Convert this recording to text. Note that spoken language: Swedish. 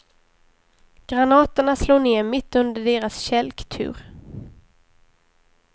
Granaterna slog ned mitt under deras kälktur.